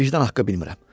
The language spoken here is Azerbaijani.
Vicdan haqqı bilmirəm.